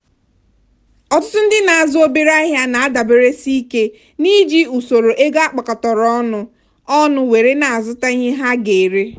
ọtụtụ ndị na-azụ obere ahịa na-adaberesike n'iji usoro ego akpakọtara ọnụ ọnụ were na-azụta ihe ha ga-ere.